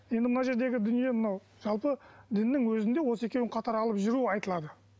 енді мына жердегі дүние мынау жалпы діннің өзінде осы екеуін қатар алып жүру айтылады